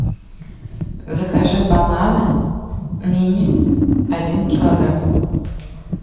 закажи бананы мини один килограмм